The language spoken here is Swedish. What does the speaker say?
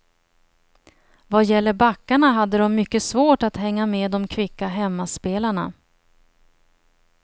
Vad gäller backarna hade dom mycket svårt att hänga med dom kvicka hemmaspelarna.